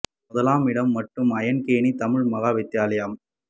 முதலாம் இடம் மட்டு ஐயன்கேணி தமிழ் மகா வித்தியாலயம்